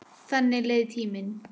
Þannig leið tíminn.